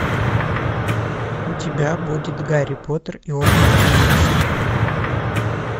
у тебя будет гарри поттер и орден феникса